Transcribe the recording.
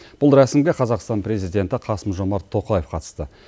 бұл рәсімге қазақстан президенті қасым жомарт тоқаев қатысты